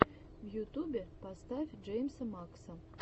в ютубе поставь джеймса мэкса